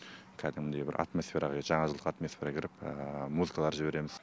кәдімгідей бір атмосфера жаңа жылдық атмосфера кіріп музыкалар жібереміз